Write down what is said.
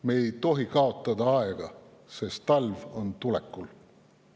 Me ei tohi kaotada aega, sest talv on tulekul.